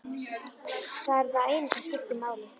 Það er það eina sem skiptir máli.